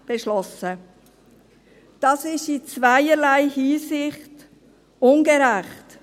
Das ist in zweierlei Hinsicht ungerecht.